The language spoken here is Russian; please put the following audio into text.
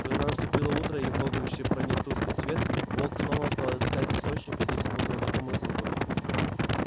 когда наступило утро и в логовище проник тусклый свет волк снова стал искать источник этих смутно знакомых звуков